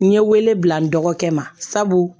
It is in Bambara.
N ye wele bila n dɔgɔkɛ ma sabu